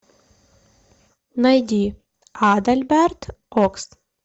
найди адальберт окс